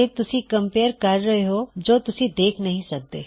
ਤੇ ਤੁਸੀਂ ਉਸ ਨੂੰਬਰ ਕਮਪੇਯਰ ਕਰ ਰਹੇ ਹੋਂ ਜੋ ਤੁਸੀਂ ਦੇਖ ਨਹੀ ਸਕਦੇ